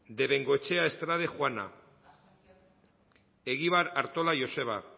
de bengoechea estrade juana egibar artola joseba